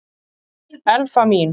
Elfa mín!